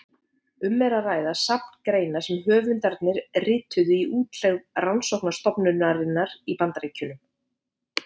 Um er að ræða safn greina sem höfundarnir rituðu í útlegð rannsóknarstofnunarinnar í Bandaríkjunum.